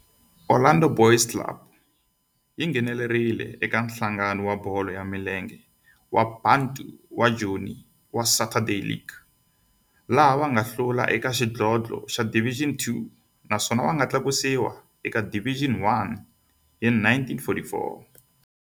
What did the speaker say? Orlando Boys yi nghenelerile eka Nhlangano wa Bolo ya Milenge wa Bantu wa Joni wa Saturday League, laha va nga hlula eka xidlodlo xa Division Two naswona va nga tlakusiwa eka Division One hi 1944.